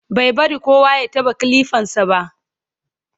bai bari kowa ya taɓa kilifan sa ba